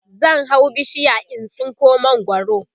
zan hau bishiya in tsinko mangwaro